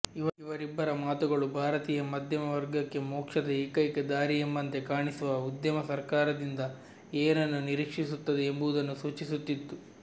ಇವರಿಬ್ಬರ ಮಾತುಗಳು ಭಾರತೀಯ ಮಧ್ಯಮ ವರ್ಗಕ್ಕೆ ಮೋಕ್ಷದ ಏಕೈಕ ದಾರಿಯೆಂಬಂತೆ ಕಾಣಿಸುವ ಉದ್ಯಮ ಸರ್ಕಾರದಿಂದ ಏನನ್ನು ನಿರೀಕ್ಷಿಸುತ್ತದೆ ಎಂಬುದನ್ನು ಸೂಚಿಸುತ್ತಿತ್ತು